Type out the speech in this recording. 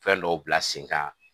Fɛn dɔw bila sen kan